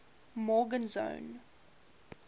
morgenzon